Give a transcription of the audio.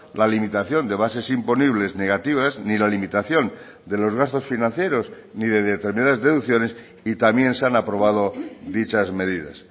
la limitación de bases imponibles negativas ni la limitación de los gastos financieros ni de determinadas deducciones y también se han aprobado dichas medidas